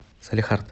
салехард